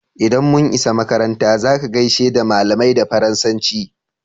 Idan mun isa makaranta" za ka gaishe da malamai da Faransanci!"